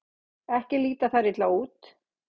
Ekki líta þær illa út.